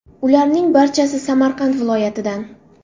Ularning barchasi Samarqand viloyatidan.